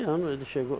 ano ele chegou.